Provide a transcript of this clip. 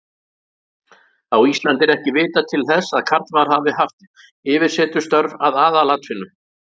Á Íslandi er ekki vitað til þess að karlmaður hafi haft yfirsetustörf að aðalatvinnu.